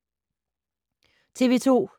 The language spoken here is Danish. TV 2